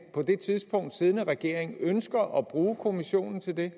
på det tidspunkt siddende regering ønsker at bruge kommissionen til det